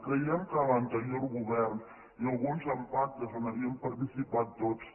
creiem que l’anterior govern i alguns amb pactes on havíem participat tots